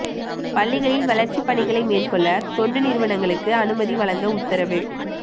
பள்ளிகளில் வளர்ச்சி பணிகளை மேற்கொள்ள தொண்டு நிறுவனங்களுக்கு அனுமதி வழங்க உத்தரவு